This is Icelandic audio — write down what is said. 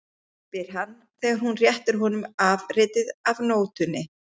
spyr hann þegar hún réttir honum afritið af nótunni.